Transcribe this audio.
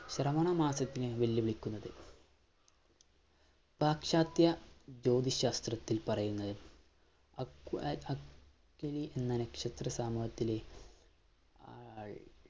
ശ്രവണ മാസത്തിനെ വിളിക്കുന്നത് പാശ്ചാത്യ ജ്യോതി ശാസ്ത്രത്തിൽ പറയുന്നത് എന്ന നക്ഷത്ര സമൂഹത്തിലെ ആൾ